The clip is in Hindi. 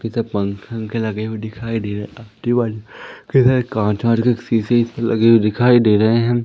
कि त पंखे वंखे लगे हुए दिखाई दे इधर कांच शीशे लगे हुए दिखाई दे रहे हैं।